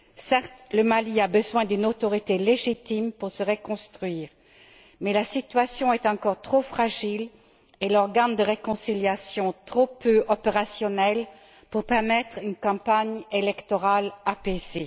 Certes, le Mali a besoin d'une autorité légitime pour se reconstruire, mais la situation est encore trop fragile et l'organe de réconciliation trop peu opérationnel pour permettre une campagne électorale apaisée.